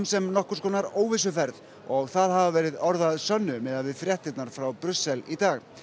sem nokkurs konar óvissuferð og það hafa verið orð að sönnu miðað við fréttirnar héðan frá Brussel í dag